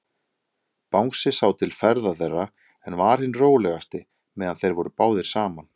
Bangsi sá til ferða þeirra, en var hinn rólegasti, meðan þeir voru báðir saman.